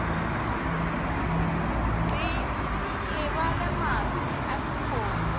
se lebale maswi a dikgomo